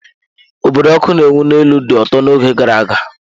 Obodo ọkụ na-enwu n'elu dị ụtọ n'oge gara aga.